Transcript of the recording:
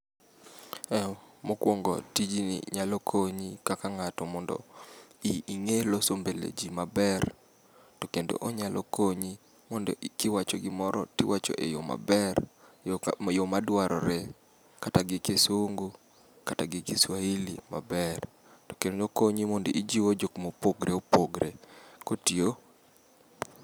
Mokwongo tijni nyalo konyi kaka ng'ato mondo ing'e loso mbeleji maber, to kendo onyalo konyi mondo kiwacho gimoro tiwacho eyo maber yo madwarore. Kata gi Kisungu, kata gi Kiswahili maber, to kendo okonyi mondo ijiwo jok mopogre opogre. Kotiyo.